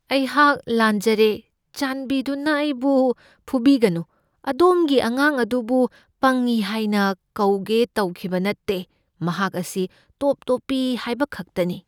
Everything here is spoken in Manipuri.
ꯑꯩꯍꯥꯛ ꯂꯥꯟꯖꯔꯦ, ꯆꯥꯟꯕꯤꯗꯨꯅ ꯑꯩꯕꯨ ꯐꯨꯕꯤꯒꯅꯨ꯫ ꯑꯗꯣꯝꯒꯤ ꯑꯉꯥꯡ ꯑꯗꯨꯕꯨ ꯄꯪꯢ ꯍꯥꯏꯅ ꯀꯧꯒꯦ ꯇꯧꯈꯤꯕ ꯅꯠꯇꯦ꯫ ꯃꯍꯥꯛ ꯑꯁꯤ ꯇꯣꯞ ꯇꯣꯞꯄꯤ ꯍꯥꯏꯕ ꯈꯛꯇꯅꯤ꯫